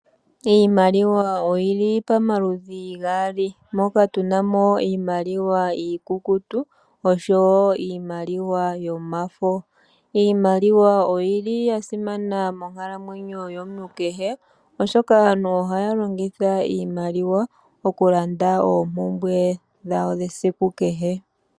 Iimaliwa oyili pamaludhi gaali moka tuna mo iimaliwa iikukutu niimaliwa yomafo. Iimaliwa oyili ya siman monkalamwenyo yomuntu kehe, oshoka aantu ohaya longitha iimaliwa oku landa oompumbwe dhawo dhesiku kehe.